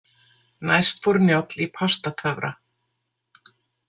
Næst fór Njáll í Pastatöfra.